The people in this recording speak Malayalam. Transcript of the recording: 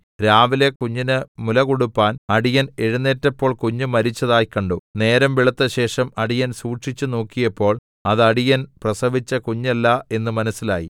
രാവിലെ കുഞ്ഞിന് മുലകൊടുപ്പാൻ അടിയൻ എഴുന്നേറ്റപ്പോൾ കുഞ്ഞ് മരിച്ചതായി കണ്ടു നേരം വെളുത്തശേഷം അടിയൻ സൂക്ഷിച്ചുനോക്കിയപ്പോൾ അത് അടിയൻ പ്രസവിച്ച കുഞ്ഞല്ല എന്ന് മനസ്സിലായി